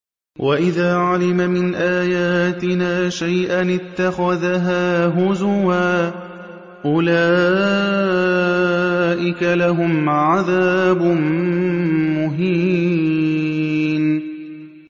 وَإِذَا عَلِمَ مِنْ آيَاتِنَا شَيْئًا اتَّخَذَهَا هُزُوًا ۚ أُولَٰئِكَ لَهُمْ عَذَابٌ مُّهِينٌ